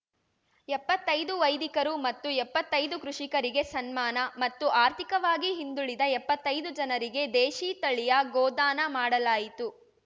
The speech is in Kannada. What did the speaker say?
ಎಪ್ಪತ್ತೈದು ವೈದಿಕರು ಮತ್ತು ಎಪ್ಪತ್ತೈದು ಕೃಷಿಕರಿಗೆ ಸನ್ಮಾನ ಮತ್ತು ಆರ್ಥಿಕವಾಗಿ ಹಿಂದುಳಿದ ಎಪ್ಪತ್ತೈದು ಜನರಿಗೆ ದೇಶೀ ತಳಿಯ ಗೋದಾನ ಮಾಡಲಾಯಿತು